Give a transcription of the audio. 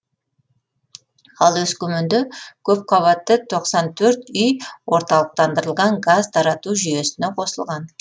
ал өскеменде көпқабатты тоқсан төрт үй орталықтандырылған газ тарату жүйесіне қосылған